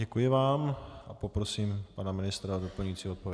Děkuji vám a poprosím pana ministra o doplňující odpověď.